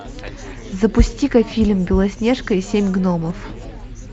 запусти ка фильм белоснежка и семь гномов